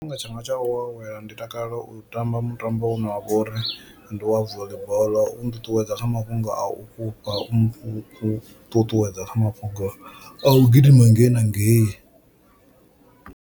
Nga tshifhinga tshanga tsha u awela ndi takalela u tamba mutambo une wa vhori ndi wa voli bola u nṱuṱuwedza kha mafhungo a u fhufha, u mu ṱuṱuwedza kha mafhungo a u gidima ngei na ngei.